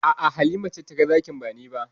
A'a, Halima ce taga zakin ba ni ba.